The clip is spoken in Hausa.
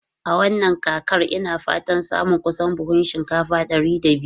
A wannan kakar, ina fatan samun kusan buhunan shinkafa ɗari biyu.